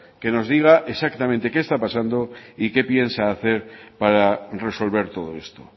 que nos diga exactamente qué está pasando y qué piensa hacer para resolver todo esto